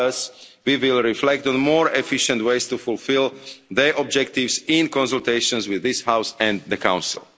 for others we will reflect on more efficient ways to fulfil the objectives, in consultations with this House and the Council.